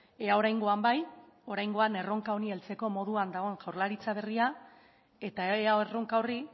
ea oraingoan bai oraingoan erronka honi heltzeko moduan dagoen jaurlaritza berria eta ea erronka horri